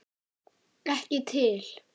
Ekki til.